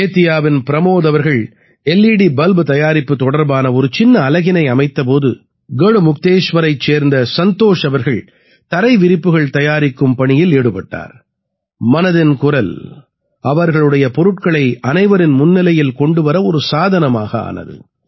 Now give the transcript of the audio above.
பேதியாவின் பிரமோத் அவர்கள் L E D bulb தயாரிப்பு தொடர்பான ஒரு சின்ன அலகினை அமைத்த போது கட்முக்தேஷ்வரைச் சேர்ந்த சந்தோஷ் அவர்கள் தரை விரிப்புகள் தயாரிக்கும் பணியில் ஈடுபட்டார் மனதின் குரல் அவர்களுடைய பொருட்களை அனைவரின் முன்னிலையில் கொண்டு வர ஒரு சாதனமாக ஆனது